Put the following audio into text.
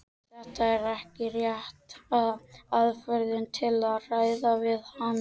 Þetta er ekki rétta aðferðin til að ræða við hana.